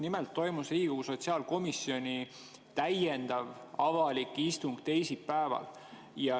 Nimelt toimus teisipäeval Riigikogu sotsiaalkomisjoni avalik täiendav istung.